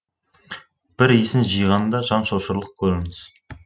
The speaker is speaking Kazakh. бір есін жиғанда жан шошырлық көрініс